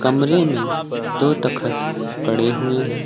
कमरे में दो तखत पड़े हुए है।